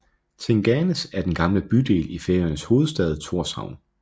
Tinganes er den gamle bydel i Færøernes hovedstad Tórshavn